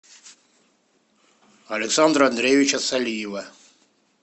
александра андреевича салиева